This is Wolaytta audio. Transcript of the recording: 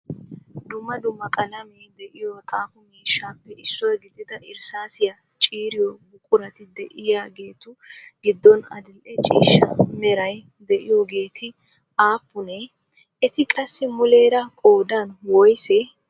Dumma dumma qalamee de"iyoo xaafo miishshaappe issuwaa gidida irssaasiya ciiriyoo buqurati diyaageetu giddon adil'e ciishsha meray de"iyoogeeti aappune? Eti qassi muleera qoodan woysee?